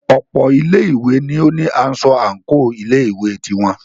Ọ̀pọ̀ ilé ìwé ní o ní aṣọ àńkò ilé ìwé ti wọn.